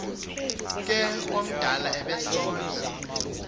ke omdala obesondla